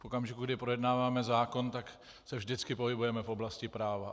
V okamžiku, kdy projednáváme zákon, tak se vždycky pohybujeme v oblasti práva.